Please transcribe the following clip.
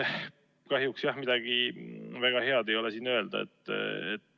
Kahjuks jah, midagi väga head siin öelda ei ole.